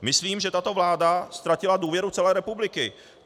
Myslím, že tato vláda ztratila důvěru celé republiky.